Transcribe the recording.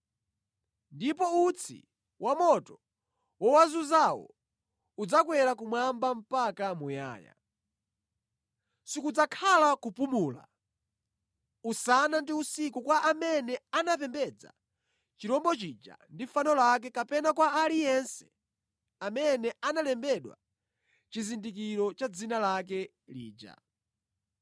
Ndipo utsi wa moto wowazunzawo udzakwera kumwamba mpaka muyaya. Sikudzakhala kupumula usana ndi usiku kwa amene anapembedza chirombo chija ndi fano lake kapena kwa aliyense amene analembedwa chizindikiro cha dzina lake lija.”